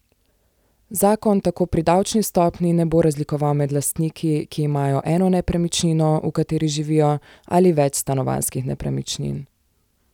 Zakon tako pri davčni stopnji ne bo razlikoval med lastniki, ki imajo eno nepremičnino, v kateri živijo, ali več stanovanjskih nepremičnin.